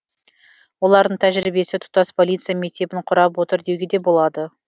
олардың тәжірибесі тұтас полиция мектебін құрап отыр деуге де болады